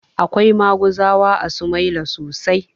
Akwai maguzawa a sumaila sosai